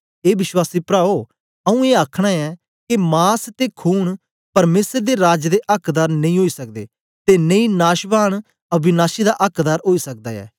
ए विश्वासी प्राओ आऊँ ए आखना ऐं के मास ते खून परमेसर दे राज दे अक्कदार नेई ओई सकदे ते नेई नाशवान अविनाशी दा अक्कदार ओई सकदा ऐ